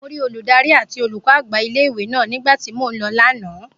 Mo rí olùdarí àti olùkọ́ àgbà ilé ìwé náà nígbà tí mo lọ lánàá